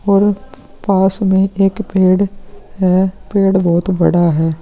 और पास में एक पेड़ है पेड़ बहुत बड़ा है।